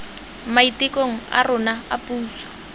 maitekong a rona a puso